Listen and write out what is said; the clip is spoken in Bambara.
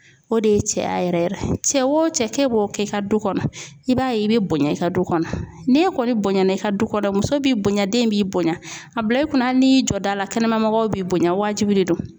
O de ye cɛya yɛrɛ cɛ o cɛ ke b'o kɛ i ka du kɔnɔ i b'a ye i bɛ bonya i ka du kɔnɔ n'e kɔni bonya na i ka du kɔnɔ muso bɛ bonya den b'i bonya a bila i kunna hali n'i jɔ da la kɛnɛma mɔgɔw b'i bonya wajibi de don